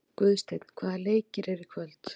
Guðsteinn, hvaða leikir eru í kvöld?